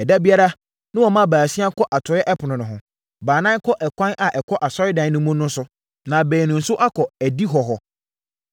Ɛda biara, na wɔma baasia kɔ atɔeɛ ɛpono no ho. Baanan kɔ ɛkwan a ɛkɔ asɔredan no mu no so, na baanu nso akɔ adihɔ hɔ.